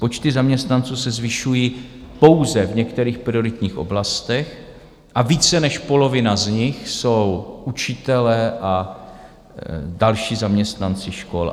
Počty zaměstnanců se zvyšují pouze v některých prioritních oblastech a více než polovina z nich jsou učitelé a další zaměstnanci škol.